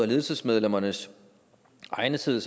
ledelsesmedlemmernes egnethed